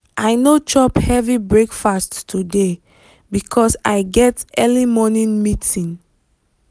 i no chop heavy breakfast today because i get early morning meeting.